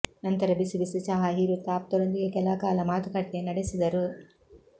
ನಂತರ ಬಿಸಿ ಬಿಸಿ ಚಹಾ ಹೀರುತ್ತಾ ಆಪ್ತರೊಂದಿಗೆ ಕೆಲಕಾಲ ಮಾತುಕತೆ ನಡೆಸಿದರು